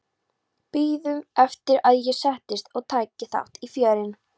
Biðu eftir að ég settist og tæki þátt í fjörinu.